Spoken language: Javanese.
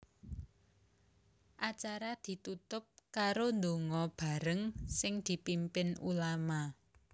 Acara ditutup karo ndonga bareng sing dipimpin ulama